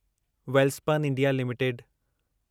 Welspun India limited